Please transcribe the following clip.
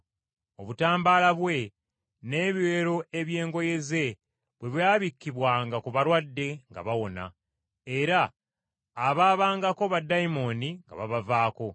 Obutambaala bwe n’ebiwero eby’engoye ze bwe byabikkibwanga ku balwadde nga bawona, era abaabangako baddayimooni nga babavaako.